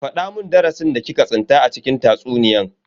Fada mun darasin da ki ka tsinta a cikin tatsuniyan.